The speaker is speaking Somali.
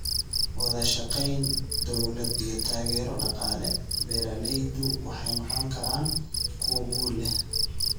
Wadashaqeyn, dowlad, iyo taageero dhaqaale, beeraleydu waxay noqon karaan kuwo guul leh.